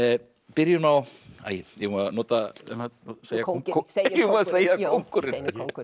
byrjum á eigum við að nota kóngurinn segjum kóngurinn